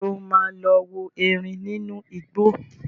Ṣé o máa lọ wo erin nínú igbó?